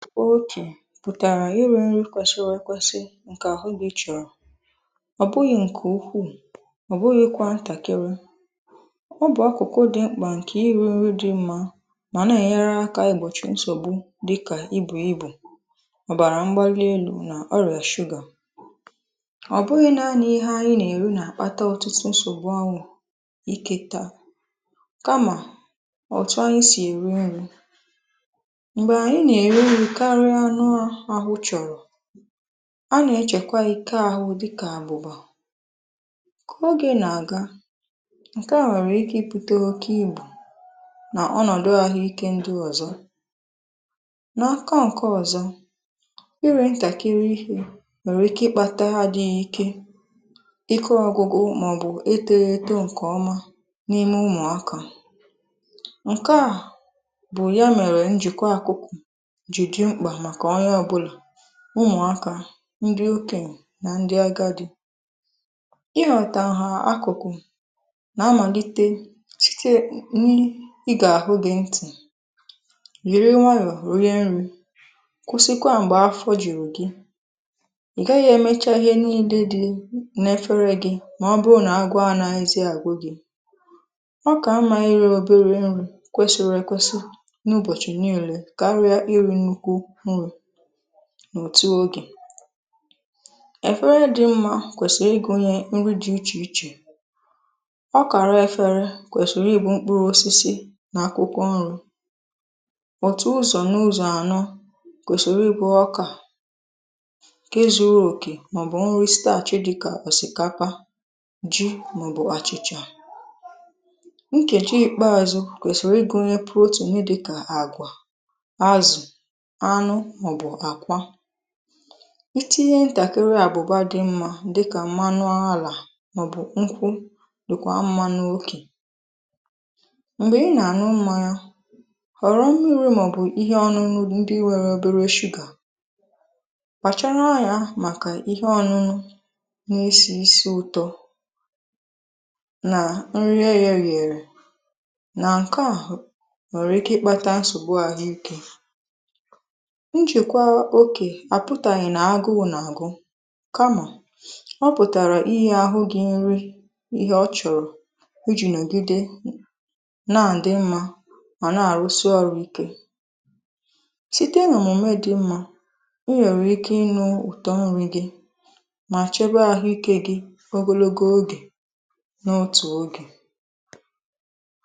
Oge pụtara iri nri̇ kwesìrì èkwesì̇ ewẹsị ǹkè àhụ gị̇ chọrọ̀, ọ bụghị̇ ǹkè ukwuu, ọ bụghị̇ kwà ntàkịrị, ọ bụ̀ akụ̀kụ̀ dị mkpà ǹkè iri nri dị mmȧ mà nà ẹ̀nyéré akà ịgbọ̀chị nsògbu dịkà ibù ibù, ọ bàrà mgbalị n’elu̇ nà ọrịa sugar, ọ bụghị̇ naȧnị̇ ihe anyị nà-èri nà-àkpata ọtụtụ nsògbu ahụ́, ike tà, kamà ọ̀tụ anyị sì èri nri̇, mgbe anyị na-èri nri karịa o nụa ahụ chọ̀rọ̀, a nà-echekwa ike ahụ̇ dịkà àbuba, ka oge nà-àga, ǹkẹ̀ a nwèrè ike ibute ọkẹ ibù nà ọnọ̀dụ̀ ahụike ndị ọ̀zọ, n’aka ǹkẹ̀ ọ̀zọ, ire ntàkịrị ihe nwèrè ike ịkpata adịghị ike, ịkụ ọgwugwu màọ̀bụ̀ etoghi eto ǹkẹ̀ ọma n’ime ụmụ̀aka ǹkẹ̀ a bụ̀ ya mèrè njị̀kwa àkụ́kụ̀ ji dị mkpa maka onye ọbula, ụmụ̀aka, ndị okenye nà ndị agadi̇ ịhọ̀tà nha akụ̀kụ̀ nà-amàlite site n’igà-àhụ gị̇ ntị̀, yìri nwayọ̀ rie nri, kwụsịkwa m̀gbè afọ̀ juru gị̇, ị gaghị̇ emechaa ihe niile dị n’efere gị̇, mà ọ bụrụ nà agụụ anaghịzi agụ gị̇, ọ kà mma iri obere nri̇ kwesịrị èkwesị n’ụbọ̀chị̀ niile kà iri nnukwu nri n’òtù ogè, efere dị mmȧ kwèsìrì igù nye nri dị iche iche, ọ kàra efere kwèsìrì ibu mkpụrụ osisi n’akwụkwọ nri, òtù ụzọ̀ n’ụzọ̀ ànọ kwesìrì ibu ọkà ǹke zuru okè màọbụ̀ nri starch dịka ọ̀sị̀kapa, ji, màọbụ̀ àchịchà, nkèji ikpeàzù kwèsìrì igù nye protein dịkà àgwà, azụ̀, anụ, màọbụ̀ àkwà, itinye ntàkịrị àbụ̀bà dị mmȧ dịkà mmanụ alà, màọbụ̀ nkwụ, dị̀kwà mmanụ na okè, m̀gbè ị nà-àṅụ mmanya, họ̀rọ mmiri̇ màọbụ̀ ihe ọnụnụ ndị nwèrè obere sugar, kpàchara anya màkà ihe ọnụnụ na-esì isi ụ̀tọ nà nri eyeghi eye, nà ǹkè a nwèrè ike ịkpȧta nsògbu àhụike, njìkwa oke àpụtàghi nà agụụ nà àgụ̇, kamà ọ pụ̀tàrà ihe àhụ gị̇ nri ihe ọ chọ̀rọ̀ iji nogide n’àdị mmȧ mà na àrụsị ọrụ̇ ike site n’omume dị mmȧ, ịnwèrè ike ịnu ụ̀tọ nri gị ma chebe àhụ ike gị̇ ogologo ogè n’òtù ogè.